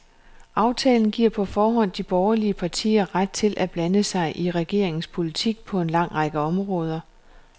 Aftalen giver på forhånd de borgerlige partier ret til at blande sig i regeringens politik på en lang række områder.